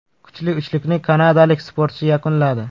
Kuchli uchlikni kanadalik sportchi yakunladi.